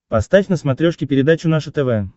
поставь на смотрешке передачу наше тв